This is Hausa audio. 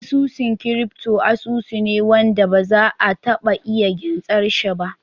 Asusun crypto asusu ne ne wanda ba za a taba iya gintsar shi ba